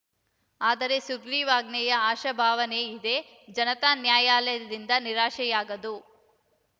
ಆದರೆ ಸುಗ್ರೀವಾಜ್ಞೆಯ ಆಶಾಭಾವನೆ ಇದೆ ಜನತಾ ನ್ಯಾಯಾಲಯದಿಂದ ನಿರಾಶೆಯಾಗದು